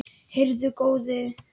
Heyrðu góði!